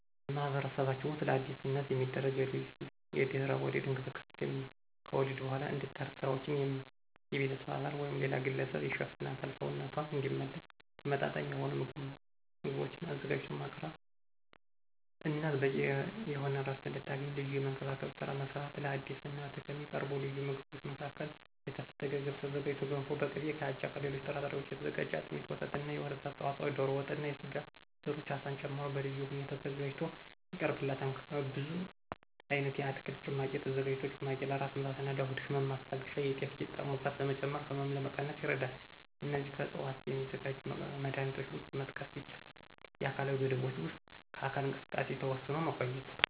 በማህበረሰባችን ውስጥ ለአዲስ እናት የሚደረግ ልዩ የድህረ ወሊድ እንክብካቤ ከወሊድ በኋላ እንድታርፍ ስራዎችን የቤተሰብ አባል ወይም ሌላ ግለሰብ ይሸፍናል፣ ሰውነቷ እንዲመለስ ተመመጣጣኝ የሆኑ ምግቦችን አዘጋጅቶ ማቅረብ፣ እናት በቂ የሆነ ዕረፍት እንድታገኝ ልጅን የመንከባከብን ስራ መስራት። ለአዲስ እናት ከሚቀርቡ ልዩ ምግቦች መካከል ከተፈተገ ገብስ የተዘጋጀ ገንፎ በቅቤ፣ ከአጃና ከሌሎች ጥራጥሬዎች የተዘጋጀ አጥሚት፣ ወተትና የወተት ተዋጽኦዎች፣ ዶሮ ወጥና የስጋ ዘሮች አሳን ጨምሮ በልዩ ሁኔታ ተዘጋጅቶ ይቀርብላታል። ከብዙ አይነት የአትክልት ጭማቂ የተዘጋጀ ጭማቂ ለራስ ምታትና ለሆድ ህመም ማስታገሻ፣ የጤፍ ቂጣ ሙቀት ለመጨመርና ህመም ለመቀነስ ይረዳል። እነዚህም ከዕፅዋት ከሚዘጋጁ መድሀኒቶች ውስጥ መጥቀስ ይቻላል። የአካላዊ ገደቦችም ውስጥ ከአካል እንቅስቃሴ ተወስኖ መቆየት።